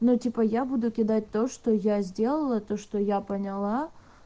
ну типа я буду кидать то что я сделала то что я поняла